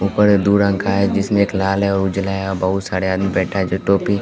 ऊपर दु रंग का है जिसमें एक उजला है लाल है बहुत सारे आदमी बैठा हैं जो टोपी--